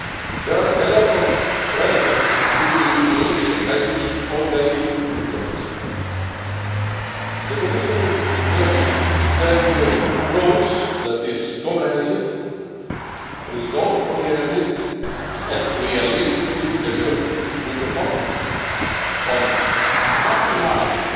There are a lot of relevant EU tools and measures already in place. The Commission is determined to take an approach that is comprehensive, result oriented and realistically deliverable, with the focus on maximising